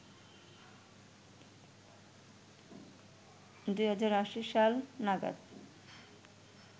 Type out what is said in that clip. ২০৮০ সাল নাগাদ